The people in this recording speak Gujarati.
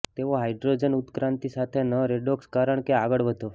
તેઓ હાઇડ્રોજન ઉત્ક્રાંતિ સાથે ન રેડોક્સ કારણ કે આગળ વધો